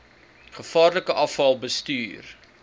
gevaarlike afval bestuur